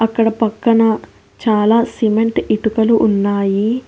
అక్కడ పక్కన చాలా సిమెంటు ఇటుకలు ఉన్నాయి.